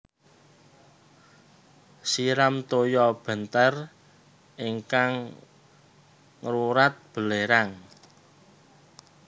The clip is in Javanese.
Siram toya bentér ingkang ngewrat belerang